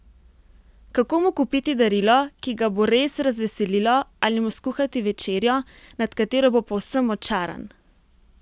Kako mu kupiti darilo, ki ga bo res razveselilo ali mu skuhati večerjo, nad katero bo povsem očaran?